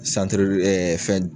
fɛn